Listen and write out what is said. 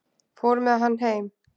Fór með hann heim.